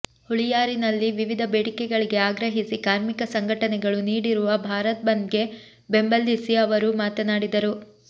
ಹುಳಿಯಾರಿನಲ್ಲಿ ವಿವಿಧ ಬೇಡಿಕೆಗಳಿಗೆ ಆಗ್ರಹಿಸಿ ಕಾರ್ಮಿಕ ಸಂಘಟನೆಗಳು ನೀಡಿರುವ ಭಾರತ್ ಬಂದ್ಗೆ ಬೆಂಬಲಿಸಿ ಅವರು ಮಾತನಾಡಿದರು